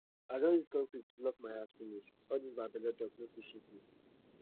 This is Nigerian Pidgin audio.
i don use concrete block my heart finish all dis bad belle talk no fit shake me